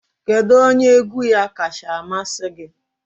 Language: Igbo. Kedu onye egwu ya kacha amasị gị?